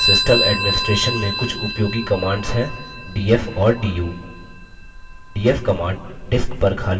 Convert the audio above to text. Linux system administration में कुछ उपयोगी commands हैं df और du